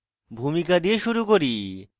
ভূমিকা দিয়ে শুরু করি